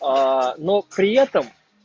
но при этом